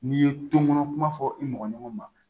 N'i ye tonkɔnɔ kuma fɔ i mɔgɔ ɲɔgɔn ma